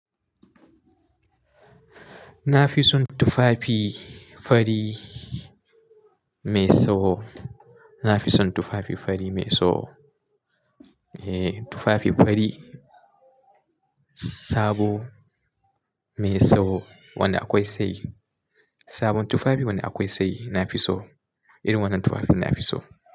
Na fi son tufafi fari mai tsawo. Na fi son tufafi fari mai tsawo. Eh, tufafi fari sabo mai tsawo wanda akwai sai. Sabon tufafi wanda akwai sai na fi so. Irin wannan tufafin na fi so.